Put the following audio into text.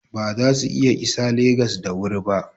Ba za su iya isa Legas da wuri ba.